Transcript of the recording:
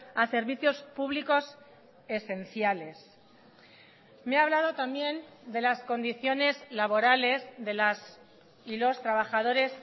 a servicios públicos esenciales me ha hablado también de las condiciones laborales de las y los trabajadores